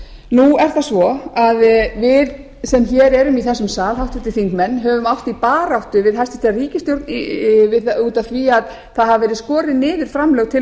nú er það svo að við sem hér erum í þessum sal háttvirtir þingmenn höfum átt í baráttu við hæstvirta ríkisstjórn út af því að það hafa verið skorin niður framlög til